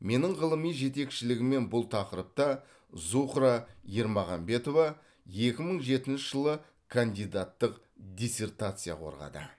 менің ғылыми жетекшілігіммен бұл тақырыпта зухра ермағанбетова екі мың жетінші жылы кандидаттық диссертация қорғады